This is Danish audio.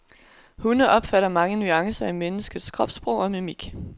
Hunde opfatter mange nuancer i menneskets kropssprog og mimik.